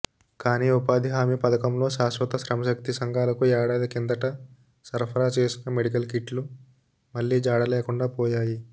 కానీ ఉపాధి హామీ పథకంలో శాశ్వత శ్రమశక్తి సంఘాలకు ఏడాది కిందట సరఫరా చేసిన మెడికల్ కిట్లు మళ్లీ జాడలేకుండాపోయాయి